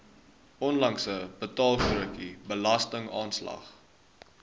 onlangse betaalstrokie belastingaanslag